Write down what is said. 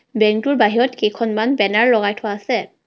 Bank টোৰ বাহিৰত কেইখনান বেনাৰ লগাই থোৱা আছে.